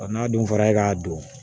n'a dun fɔra e k'a don